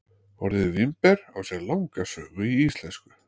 Orðið vínber á sér langa sögu í íslensku.